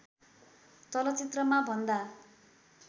चलचित्रमा भन्दा